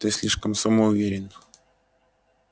ты слишком самоуверен